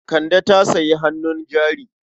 Kande ta sayi hannun jari.